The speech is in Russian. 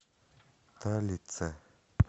талице